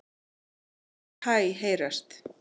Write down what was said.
Mörg hæ heyrast.